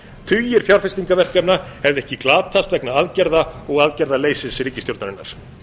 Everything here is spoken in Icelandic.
tugir fjárfestingarverkefna hefðu ekki glatast vegna aðgerða og aðgerðaleysis ríkisstjórnarinnar